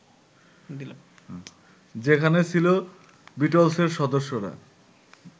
যেখানে ছিল বিটলসের সদস্যরা